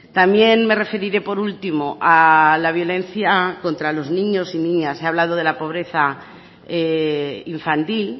también me referiré por último a la violencia contra los niños y niñas ha hablado de la pobreza infantil